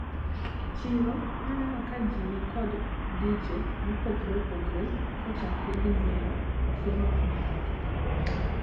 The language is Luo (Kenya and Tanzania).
E chiro naneno ka ji nikod dije mopogre opogre kochakre gi nyiewo chiemo nyaka tugo.